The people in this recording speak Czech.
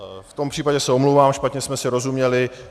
V tom případě se omlouvám, špatně jsme si rozuměli.